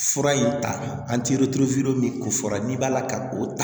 Fura in ta an tɛ min ko fɔra n'i b'a la ka o